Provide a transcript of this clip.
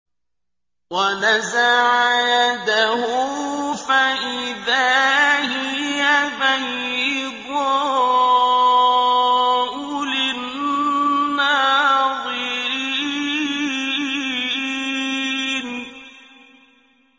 وَنَزَعَ يَدَهُ فَإِذَا هِيَ بَيْضَاءُ لِلنَّاظِرِينَ